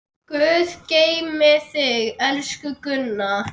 Guð geymi þig, elsku Gunna.